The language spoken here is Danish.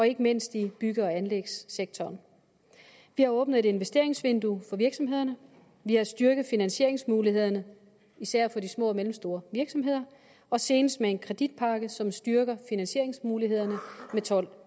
ikke mindst i bygge og anlægssektoren vi har åbnet et investeringsvindue for virksomhederne vi har styrket finansieringsmulighederne især for de små og mellemstore virksomheder og senest med en kreditpakke som styrker finansieringsmulighederne med tolv